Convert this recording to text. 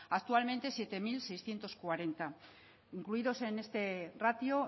actualmente siete mil seiscientos cuarenta incluidos en este ratio